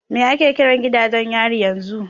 Me ake kiran gidajen yari yanzu?